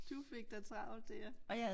Du fik da travlt dér